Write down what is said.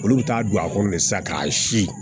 Olu bɛ taa don a kɔnɔ sisan k'a si